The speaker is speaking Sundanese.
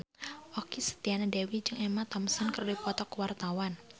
Okky Setiana Dewi jeung Emma Thompson keur dipoto ku wartawan